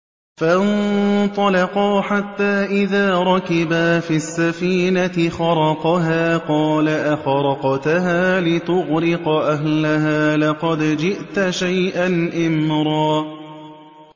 فَانطَلَقَا حَتَّىٰ إِذَا رَكِبَا فِي السَّفِينَةِ خَرَقَهَا ۖ قَالَ أَخَرَقْتَهَا لِتُغْرِقَ أَهْلَهَا لَقَدْ جِئْتَ شَيْئًا إِمْرًا